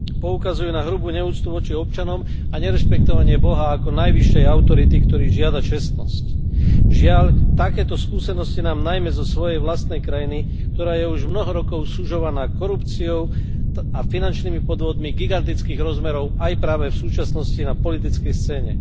Poukazujú na hrubú neúctu voči občanom a nerešpektovanie boha ako najvyššej autority, ktorý žiada čestnosť. Žiaľ, takéto skúsenosti mám najmä zo svojej vlastnej krajiny, ktorá je už mnoho rokov sužovaná korupciou a finančnými podvodmi gigantických rozmerov aj práve v súčasnosti na politickej scéne.